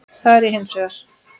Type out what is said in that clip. Það er ég hins vegar.